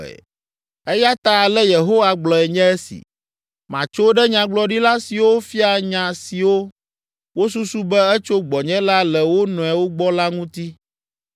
Eya ta ale Yehowa gblɔe nye esi: “Matso ɖe nyagblɔɖila siwo fia nya siwo wosusu be etso gbɔnye la le wo nɔewo gbɔ la ŋuti.”